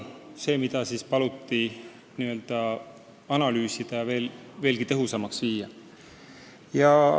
Seda paluti analüüsida, et töö veelgi tõhusamaks muuta.